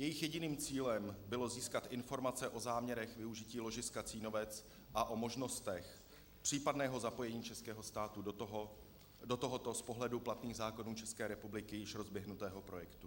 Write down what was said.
Jejich jediným cílem bylo získat informace o záměrech využití ložiska Cínovec a o možnostech případného zapojení českého státu do tohoto, z pohledu platných zákonů České republiky, již rozběhnutého projektu.